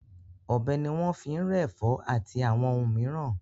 Ọ̀bẹ ni wọ́n fi ń rẹ́ ẹ̀fọ́ àti àwọn ohun mìíràn.